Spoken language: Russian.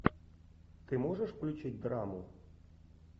ты можешь включить драму